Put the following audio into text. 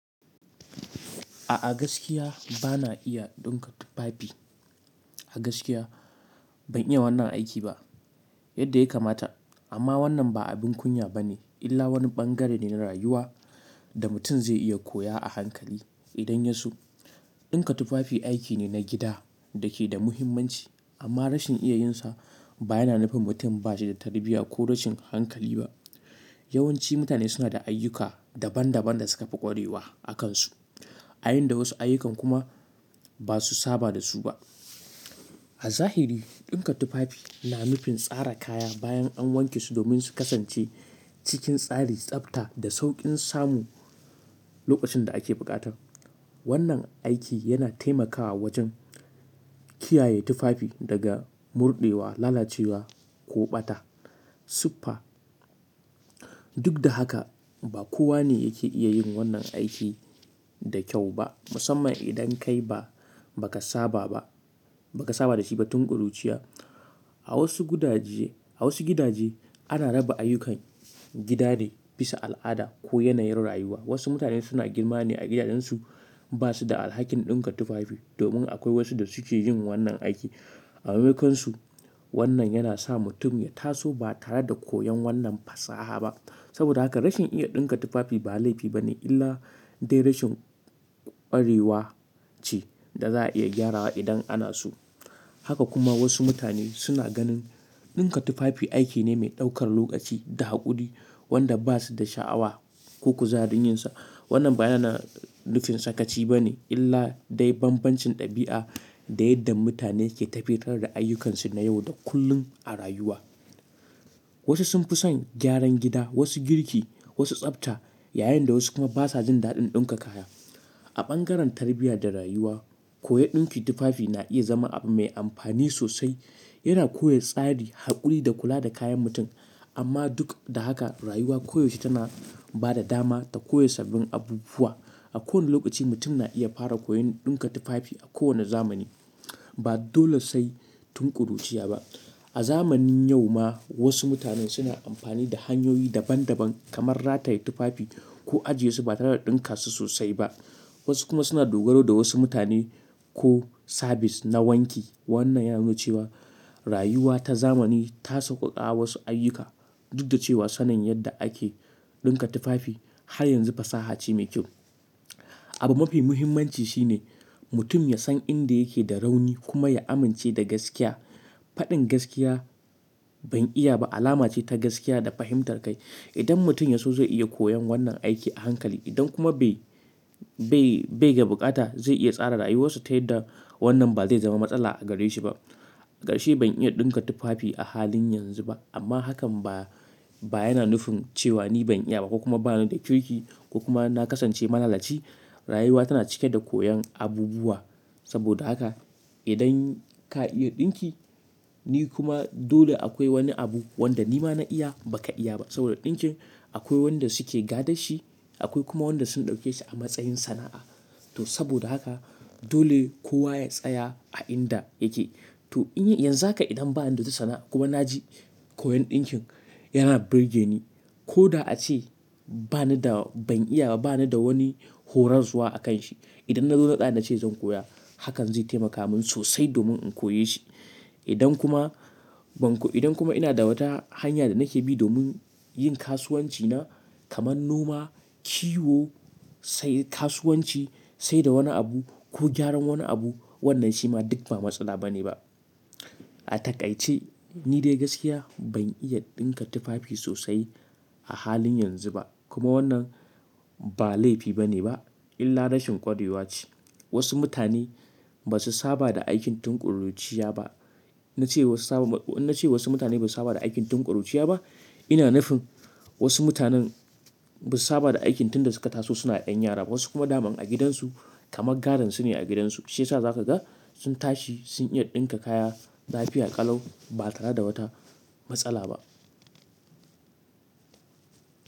A gaskiya bana iya ɗinka tufafi. A gaskiya ban iya wannan aiki ba yadda ya kamata amma wannan ba abin kunya bane illa wani ɓangare ne na rayuwa da mutum zai iya koya a hankali idan ya so. Ɗinka tufafi aiki ne na gida da ke da muhimmanci amma rashin iya yinsa ba yana nufin mutum ba shi da tarbiyya ko rashin hankali ba. Yawanci mutane suna da ayyuka daban daban da suka fi ƙwarewa a kansu, ayin da wasu ayyukan kuma ba su saba da su ba. A zahiri ɗinka tufafi na nufin tsara kaya bayan an wanke su domin su kasance cikin tsari, tsafta da sauƙin samu lokacin da ake buƙata. Wannan aiki yana taimakawa wajen kiyaye tufafi daga murɗewa, lalacewa ko ɓata. Siffa. Duk da haka ba kowa ne yake iya yin wannan aiki da kyau ba musamman idan kai ba, ba ka saba ba, ba ka saba da shi ba tun ƙuruciya. A wasu gudaje, a wasu gidaje ana raba ayyukan gida ne bisa al'ada ko yanayin rayuwa. Wasu mutane suna girma ne a gidajensu ba su da alhakin ɗinka tufafi domin akwai wasu da suke yin wannan aiki. A maimakonsu wannan yana sa mutum ya taso ba tare da koyon wannan fasaha ba. Saboda haka rashin iya ɗinka tufafi ba laifi bane illa dai rashin ƙwarewa ce da za a iya gyarawa idan ana so. Haka kuma wasu mutane suna ganin ɗinka tufafi aiki ne mai ɗaukar lokaci da haƙuri wanda ba su da sha'awa ko kuzarin yinsa. Wannan ba yana nufin sakaci bane illa dai bambancin ɗabi'a da yadda mutane ke tafiyar da ayyukansu na yau da kullum a rayuwa. Wasu sun fi son gyaran gida, wasu girki, wasu tsafta yayin da wasu kuma basa jin daɗin ɗinka kaya. A bangaren tarbiyya da rayuwa, koyon ɗinki tufafi na iya zama abu mai amfani sosai. Yana koya tsari, haƙuri da kula da kayan mutum. Amma duk da haka rayuwa koyaushe tana ba da dama ta koya sabbin abubuwa. A kowane lokaci mutum na iya fara koyon ɗinka tufafi a kowane zamani. Ba dole sai tun ƙuruciya ba. A zamanin yau ma wasu mutane suna amfani da hanyoyi daban daban kamar rataye tufafi ko ajiye su ba tare da ɗinka su sosai ba. Wasu kuma suna dogaro da wasu mutane ko sabis na wanki. Wannan ya nuna cewa rayuwa ta zamani ta sauƙaƙa wasu ayyuka duk da cewa sanin yadda ake ɗinka tufafi har yanzu fasaha ce mai kyau. Abu mafi muhimmanci shine mutum ya san inda yake da rauni kuma ya amince da gaskiya. Faɗin gaskiya ban iya ba alama ce ta gaskiya da fahimtar kai. Idan mutum ya so zai iya koyon wannan aiki a hankali idan kuma bai, bai, bai da bukata zai iya tsara rayuwarsa ta yadda wannan ba zai zama matsala a gare shi ba. Ga shi ban iya ɗinka tufafi a halin yanzu ba amma hakan ba, ba yana nufin cewa ni ban iya ba ko kuma ba ni da kirki ko kuma na kasance malalaci. Rayuwa tana cike da koyon abubuwa saboda haka idan ka iya ɗinki ni kuma dole akwai wani abu wanda ni ma na iya ba ka iya ba saboda ɗinkin akwai wanda suke gadar shi akwai kuma wanda sun ɗauke shi a matsayin sana'a. To saboda haka dole kowa ya tsaya a inda yake. To in yanzu haka idan ba ni da ta sana'a kuma na ji koyon ɗinkin yana burge ni ko da ace ba ni da ban iya ba, ba ni da wani horarwa a kan shi. Idan na zo naɗa na ce zan koya hakan zai taimaka min sosai domin in koya shi. Idan kuma ban ko idan kuma ina da wata hanya da nake bi domin yin kasuwanci na kamar noma, kiwo, sai kasuwanci, sai da wani abu ko gyaran wani abu wannan shi ma duk ba matsala bane ba. A takai ce ni dai gaskiya ban iya ɗinka tufafi sosai a halin yanzu ba kuma wannan ba laifi bane ba illa rashin ƙwarewa ce. Wasu mutane ba su saba da aikin tun ƙuruciya ba. Na ce wasu saba na ce wasu mutane ba su saba da aikin tun ƙuruciya ba. Ina nufin wasu mutanen ba su saba da aikin tun da suka taso suna ƴan yara ba wasu kuma daman a gidansu kamar gadon su ne a gidansu sai sa za ka ga sun tashi sun iya ɗinka kaya lafiya ƙalau ba tare da wata matsala ba.